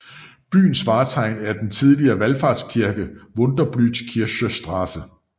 Byens vartegn er den tidligere valfartskirke Wunderblutkirche St